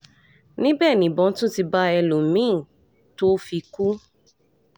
níbẹ̀ nìbọn tún ti bá ẹlọ́mìn-ín tó fi kú